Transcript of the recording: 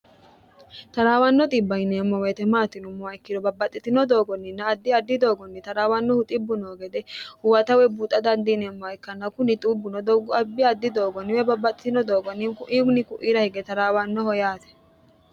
taraawanno bbiemmo meetemaatinummowa ikkiro babbaxxitino doogonninna addi addi doogonni taraawannohu xibbu noo gede huwatawe buuxa dandiineemmoha ikkanna kuni xubbuno doggu abbi addi doogonniwe babbaxxitino doogonninku iwini ku'ira hige taraawannoho yaate